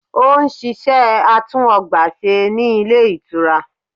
Ó n ṣiṣẹ́ atún ọgbà ṣe ní Ilé Ìtura